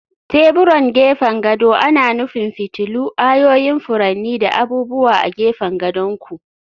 Teburan gefen gado ana nufin fitilu, ayoyin furanni, da abubuwa a gefen gadon ku.